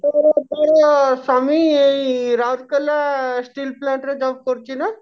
ତୋର ସ୍ଵାମୀ ଏଇ ରାଉରକେଲା steel plant ରେ job କରୁଛି ନା?